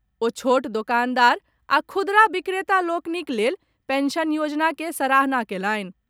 ओ छोट दोकानदार आ खुदरा बिक्रेता लोकनिक लेल पेंशन योजना के सराहना कयलनि।